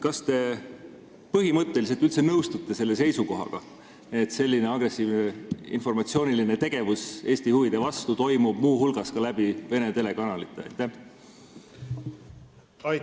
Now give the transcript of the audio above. Kas te põhimõtteliselt üldse nõustute selle seisukohaga, et selline agressiivne informatsiooniline tegevus Eesti huvide vastu toimub muu hulgas Vene telekanalite kaudu?